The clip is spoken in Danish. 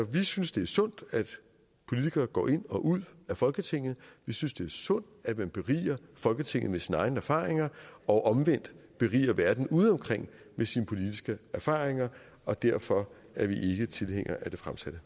vi synes det er sundt at politikere går ind og ud af folketinget vi synes det er sundt at man beriger folketinget med sine egne erfaringer og omvendt beriger verden udeomkring med sine politiske erfaringer og derfor er vi ikke tilhængere af det fremsatte